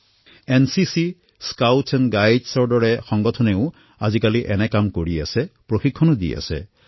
NCC Scoutsৰ দৰে সংগঠনেও আজিকালি এই কামসমূহ কৰি আছে প্ৰশিক্ষণো লৈ আছে